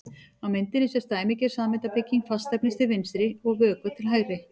Á myndinni sést dæmigerð sameindabygging fastefnis til vinstri og vökva til hægri.